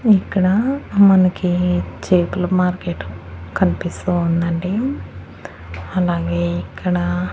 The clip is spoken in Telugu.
ఇక్కడ మనకి చేపలు మార్కెట్టు కన్పిస్తూ ఉందండి అలాగే ఇక్కడ --